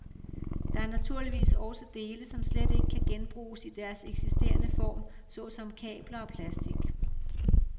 Der er naturligvis også dele, som slet ikke kan genbruges i deres eksisterende form, såsom kabler og plastik.